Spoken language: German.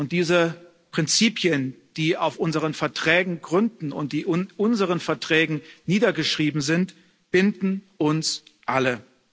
Diese Prinzipien, die auf unseren Verträgen gründen und die in unseren Verträgen niedergeschrieben sind, binden uns alle.